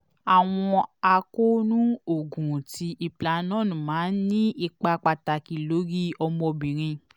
awọn akoonu oogun ti implanon maa n ni ipa pataki lori ọmọbinrin